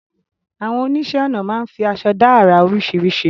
Àwọn oníṣẹ̀ onà máa fi àṣọ̀ dá ara oríṣíríṣì